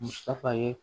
Musa ye